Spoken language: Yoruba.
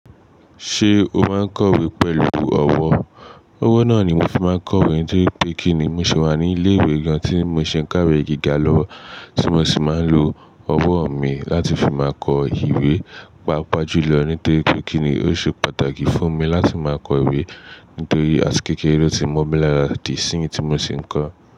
Ṣé o máa ń kọ ìwé pẹ̀lú ọ̀wọ̀? Ọwọ́ náà ni n ma fi máa ń kọ ìwé nítorí pé kí ni mo sì máa ní ilé ìwé gan tí mo ṣi ń kàwé gíga lọwo tí mo sì máa ń lo ọwọ́ mi láti fi máa kọ ìwé, pàápàá jù lọ nítorí pé kí ni ó ṣe pàtàkì fún mi láti máa kọ ìwé nítorí àti kékeré ló ti mọ́ mi lára di sí ì tí mo sì ń kọ.